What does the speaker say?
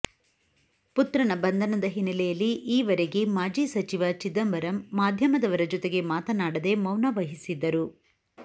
ಪುತ್ರನ ಬಂಧನದ ಹಿನ್ನೆಲೆಯಲ್ಲಿ ಈ ವರೆಗೆ ಮಾಜಿ ಸಚಿವ ಚಿದಂಬರಂ ಮಾಧ್ಯಮದವರ ಜತೆಗೆ ಮಾತನಾಡದೆ ಮೌನ ವಹಿಸಿದ್ದರು